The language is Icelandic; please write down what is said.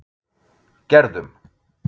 Gerðum